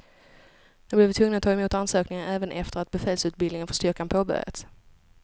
Nu blir vi tvungna att ta emot ansökningar även efter att befälsutbildningen för styrkan påbörjats.